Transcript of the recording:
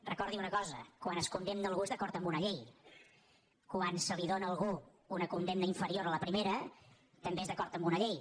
recordi una cosa quan es condemna algú és d’acord amb una llei quan es dóna a algú una condemna inferior a la pri·mera també és d’acord amb una llei